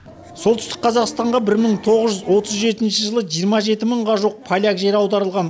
солтүстік қазақстанға бір мың тоғыз отыз жетінші жылы жиырма жеті мыңға жуық поляк жер аударылған